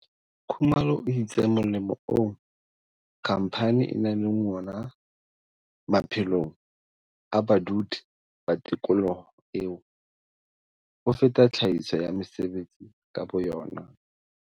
Khumalo o itse molemo oo khamphane e nang le wona maphelong a badudi ba tikoloho eo, o feta tlhahiso ya mesebetsi ka boyona.